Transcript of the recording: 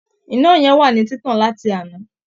Iná yẹn wà ní títàn láti àná